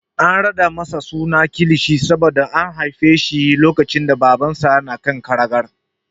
An raɗa masa suna Kilishi saboda an haife shi lokacin da Babansa na kan karagar.